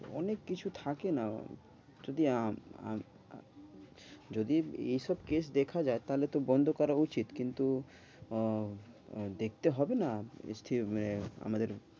অনেক কিছু থাকে না যদি আম~ আমি যদি এইসব case দেখা যায় তাহলে তো বন্ধ করা উচিত। কিন্তু আহ দেখতে হবে না আমাদের